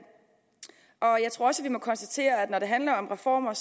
jeg tror også at vi må konstatere at når det handler om reformer er